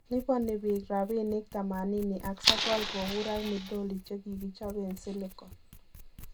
liponi biik rabinik �89 kobur ak midoli chegikichoben silicone.